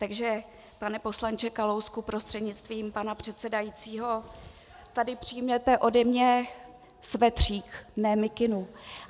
Takže pane poslanče Kalousku prostřednictvím pana předsedajícího, tady přijměte ode mě svetřík, ne mikinu.